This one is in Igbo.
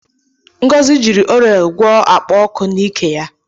Ngozi jiri orele gwọọ akpa oku na ikee ya.